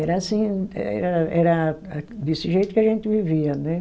Era assim, era era a, desse jeito que a gente vivia, né?